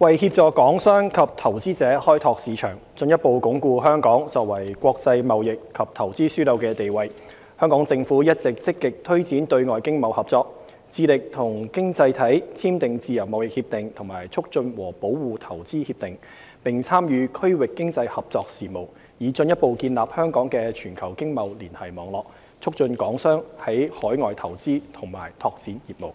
為協助港商及投資者開拓市場，進一步鞏固香港作為國際貿易及投資樞紐的地位，香港政府一直積極推展對外經貿合作、致力與經濟體簽訂自由貿易協定及促進和保護投資協定，並參與區域經濟合作事務，以進一步建立香港的全球經貿連繫網絡，促進港商在海外投資和拓展業務。